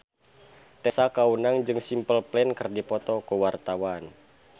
Tessa Kaunang jeung Simple Plan keur dipoto ku wartawan